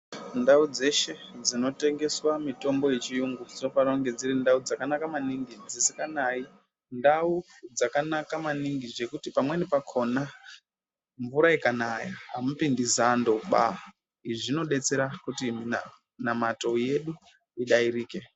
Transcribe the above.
Ndau dzeshe dzinotengeswa mitombo dzechiyungu dzinofana kunge dziri ndau dzakanaka maningi dzisinganayi ndau dzakanaka maningi zvekuti pamweni pakhona mvura ikanaya amupindi zando ba izvi zvinodetsera kuti minamato yedu idairike.